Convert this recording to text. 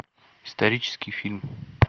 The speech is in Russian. исторический фильм